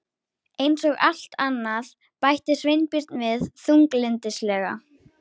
Eins og allt annað- bætti Sveinbjörn við þunglyndislega.